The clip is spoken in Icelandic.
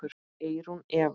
Eyrún Eva.